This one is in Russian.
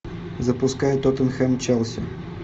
запускай тоттенхэм челси